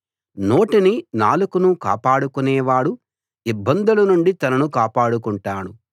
నోటిని నాలుకను కాపాడుకునేవాడు ఇబ్బందుల నుండి తనను కాపాడుకుంటాడు